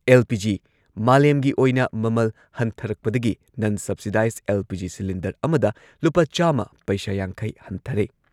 LPG. ꯃꯥꯂꯦꯝꯒꯤ ꯑꯣꯏꯅ ꯃꯃꯜ ꯍꯟꯊꯔꯛꯄꯗꯒꯤ ꯅꯟ ꯁꯕꯁꯤꯗꯥꯏꯖ ꯑꯦꯜ.ꯄꯤ.ꯖꯤ. ꯁꯤꯂꯤꯟꯗꯔ ꯑꯃꯗ ꯂꯨꯄꯥ ꯆꯥꯝꯃ ꯄꯩꯁꯥ ꯌꯥꯡꯈꯩ ꯍꯟꯊꯔꯦ꯫